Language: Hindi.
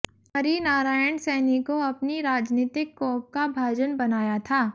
हरिनारायण सैनी को अपनी राजनीतिक कोप का भाजन बनाया था